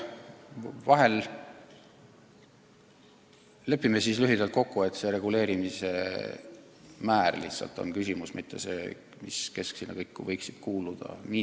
Lepime siis lühidalt kokku, et otsustame lihtsalt reguleerimise määra, mitte selle, kes kõik komisjoni võiksid kuuluda.